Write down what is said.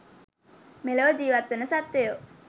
මෙලොව ජීවත්වන සත්වයෝ